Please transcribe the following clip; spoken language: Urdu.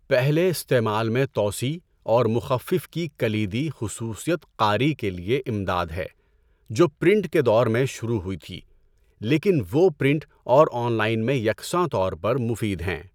پہلے استعمال میں توسیع اور مخفف کی کلیدی خصوصیت قاری کے لیے امداد ہے جو پرنٹ کے دور میں شروع ہوئی تھی، لیکن وہ پرنٹ اور آن لائن میں یکساں طور پر مفید ہیں۔